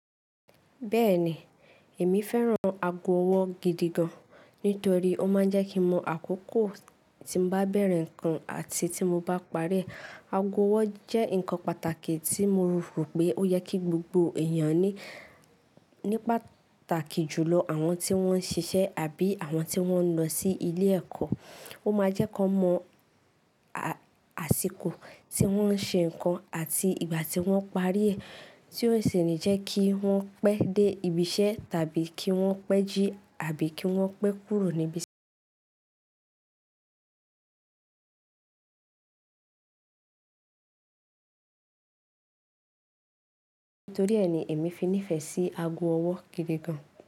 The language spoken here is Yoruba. Bẹ́ẹ̀ni, èmi fẹ́ràn ago ọwọ́ gidi gan-an nítorí ó máa ń jẹ́ kí n mọ àkókò tí mo bá bẹ̀rẹ̀ ǹnkan àti tí mo bá parí ẹ. Ago ọwọ́ jẹ́ ǹkan pàtàkì tí mo rò pé ó yẹ kí gbogbo èèyàn ní, ní pàtàkì jùlọ àwọn tí wọ́n ń ṣiṣẹ́ àbí àwọn tí wọ́n ń lọ sí ilé ẹ̀kọ́. Ó máa jẹ́ kó mọ àsìkò tí wọ́n ń ṣe ǹnkan àti ìgbà tí wọ́n parí rẹ̀, tí ó sì ńi jẹ́ kí wọ́n pẹ́ dé ibi iṣẹ́ tàbí kí wọ́n pẹ́ jí àbí kí wọ́n pẹ́ kúrò ní ibi iṣẹ́. Nítorí ẹ ni èmi fi nífẹ̀ẹ́ sí ago ọwọ́ gidi gan-an.